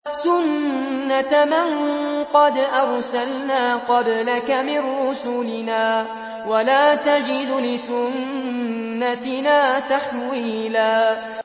سُنَّةَ مَن قَدْ أَرْسَلْنَا قَبْلَكَ مِن رُّسُلِنَا ۖ وَلَا تَجِدُ لِسُنَّتِنَا تَحْوِيلًا